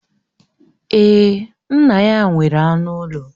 Èè, nna ya nwere anụ ụlọ